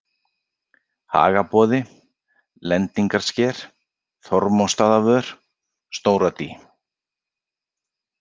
Hagaboði, Lendingarsker, Þormóðsstaðavör, Stóradý